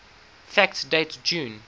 fact date june